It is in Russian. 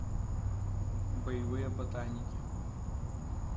боевые ботаники